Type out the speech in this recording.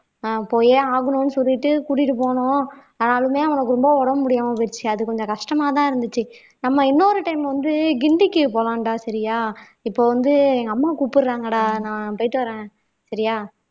போயே ஆகணும்னு சொல்லிட்டு கூட்டிட்டு போனோம் ஆனாலுமே அவனுக்கு ரொம்ப உடம்பு முடியாம போயிடுச்சு அது கொஞ்சம் கஷ்டமாதான் இருந்துச்சு நம்ம இன்னொரு time வந்து கிண்டிக்கு போலாம்டா சரியா இப்ப வந்து எங்க அம்மா கூப்பிடுறாங்கடா நான் போயிட்டு வரேன் சரியா